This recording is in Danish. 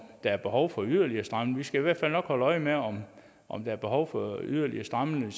der er behov for yderligere stramninger vi skal i hvert fald nok holde øje med om om der er behov for yderligere stramninger